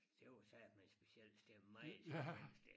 Det var satme et specielt sted meget specielt sted